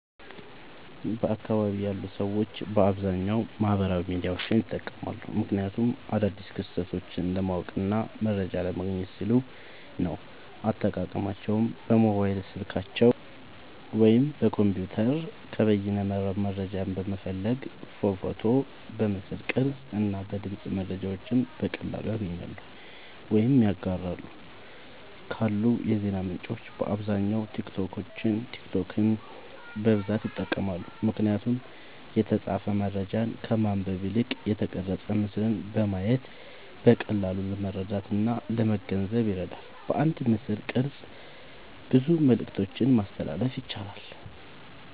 በአካባቢየ ያሉ ሰዎች በአብዛኛዉ ማህበራዊ ሚዲያዎችን ይጠቀማሉ። ምክንያቱም አዳዲስ ክስተቶችን ለማወቅና መረጃ ለማግኘት ሲሉ ነዉ። አጠቃቀማቸዉም በሞባይል ስልካቸዉ ወይም በኮምፒዉተር ከበይነመረብ መረጃን በመፈለግ በፎቶ፣ በምስል ቅርጽ እና በድምጽ መረጃዎችን በቀላሉ ያገኛሉ ወይም ያጋራሉ። ካሉ የዜና ምንጮች በአብዛኛዉ ቲክቶክን በብዛት ይጠቀማሉ። ምክንያቱም የተጻፈ መረጃን ከማንበብ ይልቅ የተቀረጸ ምስልን በማየት በቀላሉ ለመረዳትእና ለመገንዘብ ይረዳል። በአንድ ምስልቅርጽ ብዙ መልክቶችን ማስተላለፍ ያስችላል።